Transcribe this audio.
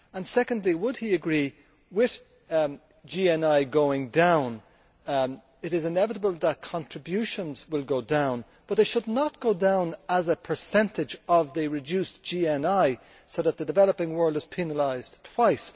Secondly, would he agree that, with GNI going down, it is inevitable that contributions will go down, but that they should not go down as a percentage of reduced GNI in such a way that the developing world is penalised twice?